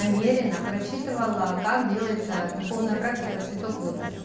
намерено прочитывала как делается духовная практика цветок лотоса